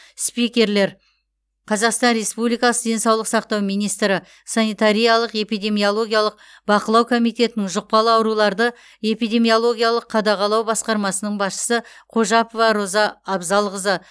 спикерлер қазақстан республикасы денсаулық сақтау министрі санитариялық эпидемиологиялық бақылау комитетінің жұқпалы ауруларды эпидемиологиялық қадағалау басқармасының басшысы қожапова роза абзалқызы